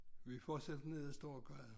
Vi fortsætter ned af storegade